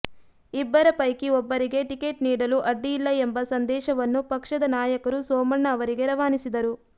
ಇಬ್ಬರ ಪೈಕಿ ಒಬ್ಬರಿಗೆ ಟಿಕೆಟ್ ನೀಡಲು ಅಡ್ಡಿಯಿಲ್ಲ ಎಂಬ ಸಂದೇಶವನ್ನು ಪಕ್ಷದ ನಾಯಕರು ಸೋಮಣ್ಣ ಅವರಿಗೆ ರವಾನಿಸಿದರು